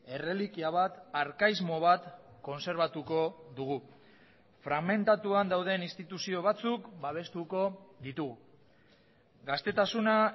errelikia bat arkaismo bat kontserbatuko dugu fragmentatuan dauden instituzio batzuk babestuko ditugu gaztetasuna